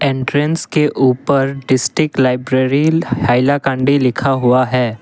Entrance के ऊपर district library Hailakandi लिखा हुआ है।